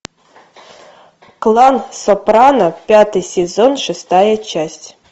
клан сопрано пятый сезон шестая часть